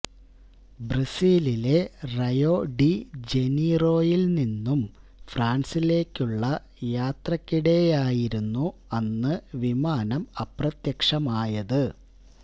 ബ്രസീലിലെ റയോ ഡി ജനീറോയിൽ നിന്നും ഫ്രാൻസിലേക്കുള്ള യാത്രക്കിടെയായിരുന്നു അന്ന് വിമാനം അപ്രത്യക്ഷമായത്